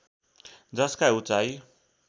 जसका उचाई